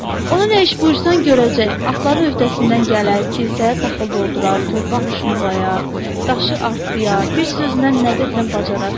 Ona nə iş buyursan görəcək, atların öhdəsindən gələr, kisəyə taxıl doldurar, torpaq şumlayar, daşı artdıyar, bir sözlə nə desən bacarar.